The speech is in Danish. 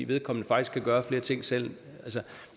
vedkommende faktisk kan gøre flere ting selv